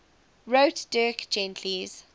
wrote dirk gently's